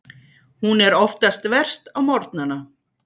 Hún er oftast verst á morgnana.